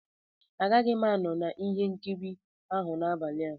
Agaghị m anọ na ihe nkiri ahụ n'abalị a.